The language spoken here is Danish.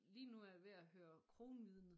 Lige nu er jeg ved at høre Kronvidnet